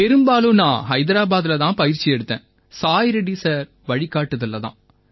பெரும்பாலும் நான் ஹைதராபாதில தான் பயிற்சி எடுத்தேன் சாய் ரெட்டி சார் வழிகாட்டுதல்ல தான்